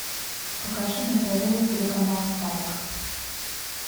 покажи на тв телеканал спайк